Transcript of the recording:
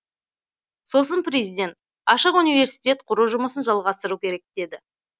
сосын президент ашық университет құру жұмысын жалғастыру керек деді